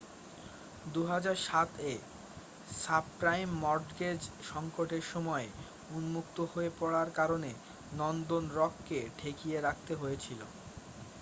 2007-এ subprime mortgage সঙ্কটের সময়ে উন্মুক্ত হয়ে পড়ার কারণে নর্দার্ন রককে ঠেকিয়ে রাখতে হয়েছিল